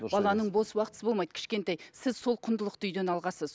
баланың бос уақытысы болмайды кішкентай сіз сол құндылықты үйден алғансыз